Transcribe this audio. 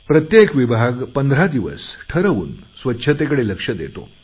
प्रत्येक विभाग पंधरा दिवस ठरवून स्वच्छतेकडे लक्ष देतो